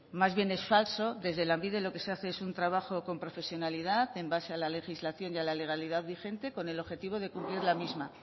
más bien es falso desde lanbide lo que se hace es un trabajo con profesionalidad en base a la legislación y a la legalidad vigente con el objetivo de cumplir la misma